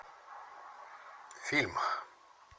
фильм